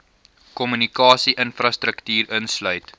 kommunikasie infrastruktuur insluit